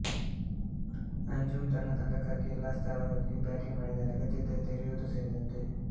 ಅಂಜುಮ್ ತನ್ನ ತಂಡಕ್ಕಾಗಿ ಎಲ್ಲಾ ಸ್ಥಾನಗಳಲ್ಲಿಯೂ ಬ್ಯಾಟಿಂಗ್ ಮಾಡಿದ್ದಾರೆ ಅಗತ್ಯವಿದ್ದರೆ ತೆರೆಯುವುದು ಸೇರಿದಂತೆ